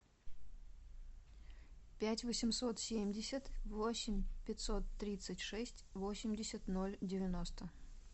пять восемьсот семьдесят восемь пятьсот тридцать шесть восемьдесят ноль девяносто